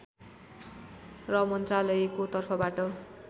र मन्त्रालयको तर्फबाट